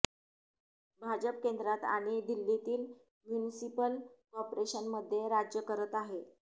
भाजप केंद्रात आणि दिल्लीतील म्युनिसिपल कॉर्पोरेशनमध्ये राज्य करत आहे